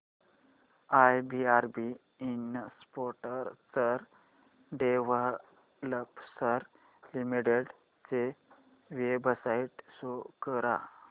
IRB infrastructure developers limited ची website show करा